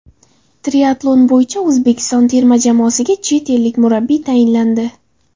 Triatlon bo‘yicha O‘zbekiston terma jamoasiga chet ellik murabbiy tayinlandi.